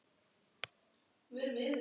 Og var sofnaður aftur.